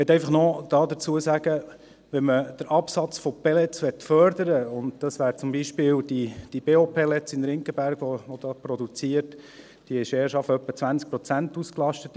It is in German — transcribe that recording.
Ich möchte dazu noch sagen: Wenn man den Absatz von Pellets fördern möchte – und das wäre zum Beispiel die BeO Pellets GmbH, die in Ringgenberg produziert und deren Produktion erst zu etwa 20 Prozent ausgelastet ist;